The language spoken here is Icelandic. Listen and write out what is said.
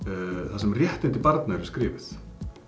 þar sem réttindi barna eru skrifuð